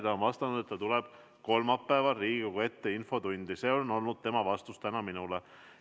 Ta on öelnud, et ta tuleb kolmapäeval Riigikogu ette infotundi – see oli tema tänane vastus minule.